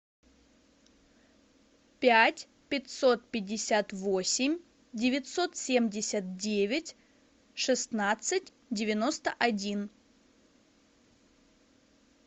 пять пятьсот пятьдесят восемь девятьсот семьдесят девять шестнадцать девяносто один